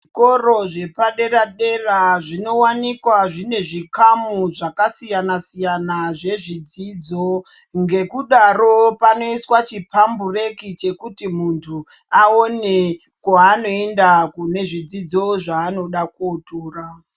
Zvikoro zvepadera dera zvinowanikwa zvine zvikamu zvakasiyana siyana zvezvidzidzo ngekudaro panoiswa chiphambureki chekuti muntu aone kwaanoenda kune zvidzidzo zvaanoda kotura.